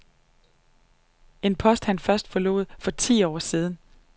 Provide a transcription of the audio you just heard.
En post han først forlod for ti år siden .